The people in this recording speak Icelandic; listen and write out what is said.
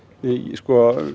sko